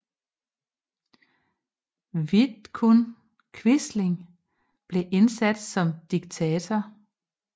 Vidkun Quisling blev indsat som diktator